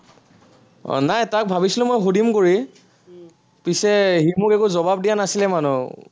আহ নাই তাক ভাবিছিলো মই সুধিম বুলি, পিছে সি মোক একো জবাব দিয়া নাছিলে মানে